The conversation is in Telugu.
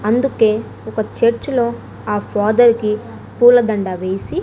అందుకే ఒక చర్చ్ లో ఆ ఫాదర్ కి పూలదండ వేసి --